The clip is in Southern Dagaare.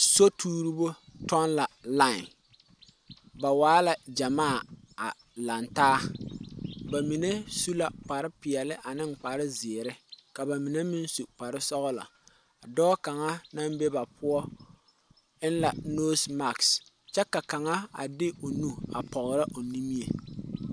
Sotuuribo toŋ la ba line ba waa la gyɛmaa a laŋe taa ba ba su kparre peɛle an kpare zeɛre, k a ba mine meŋ su kpare kpare sɔglɔ dɔɔ kaŋa naŋ be ba poɔ eŋ la nɔwɔɔ kyɛ kaŋa a de o nu a pɔgerɔ o nimie